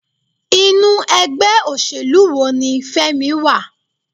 Inú ẹgbẹ́ òṣèlú wo ní Femi wà?